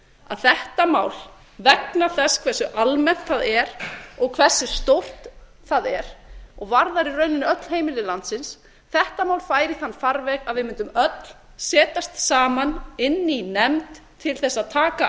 að þetta mál vegna þess hversu almennt það er og hversu stórt það er og varðar í rauninni öll heimili landsins þetta mál færi í þann farveg að við mundum öll setjast saman inn í nefnd til þess að taka